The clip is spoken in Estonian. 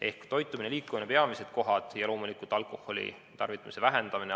Ehk toitumine ja liikumine on need peamised kohad ja loomulikult alkoholitarvitamise vähendamine.